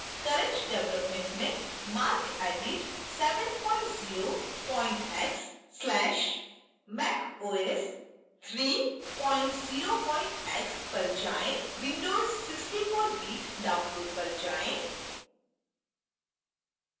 current development में marcedit 70 x/macos 30 x पर जाएँ windows 64bit download पर जाएँ